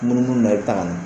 Munumunu na i bɛ taa